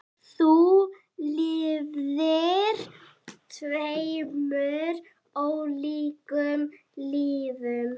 Þú lifðir tveimur ólíkum lífum.